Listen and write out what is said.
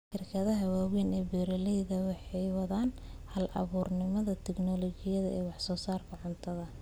Shirkadaha waaweyn ee beeralaydu waxay wadaan hal-abuurnimada tignoolajiyada ee wax soo saarka cuntada.